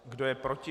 Kdo je proti?